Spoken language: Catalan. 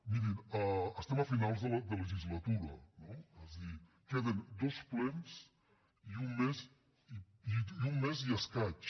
mirin estem a finals de legislatura no és a dir queden dos plens i un mes i escaig